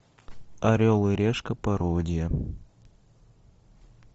орел и решка пародия